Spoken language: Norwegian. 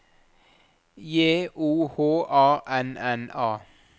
J O H A N N A